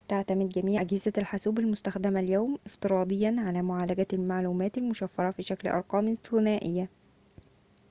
تعتمد جميعُ أجهزة الحاسوبِ المستخدمة اليوم افتراضياً على معالجة المعلومات المشفرة في شكل أرقامٍ ثُنائية